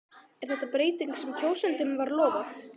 Er þetta breytingin sem kjósendum var lofað?